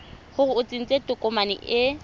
gore o tsentse tokomane e